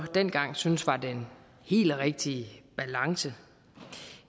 dengang syntes var den helt rigtige balance